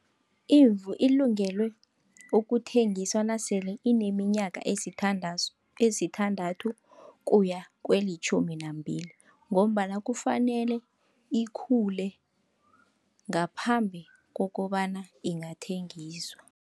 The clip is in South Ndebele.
Imvu ilungelwe ukuthengiswa nasele ineminyaka esithandazu, esithandathu kuya kwelitjhumi nambili, ngombana kufanele ikhule ngaphambi kokobana ingathengiswa.